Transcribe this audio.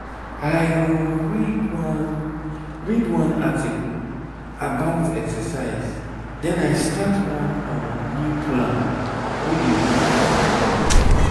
i um read one read one article about exercise then i start one um new plan wey dey work for me.